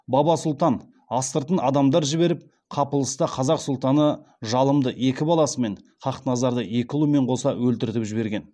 баба сұлтан астыртын адамдар жіберіп қапылыста қазақ сұлтаны жалымды екі баласымен хақназарды екі ұлымен қоса өлтіртіп жіберген